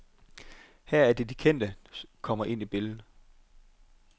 Her er det de kendte kommer ind i billedet.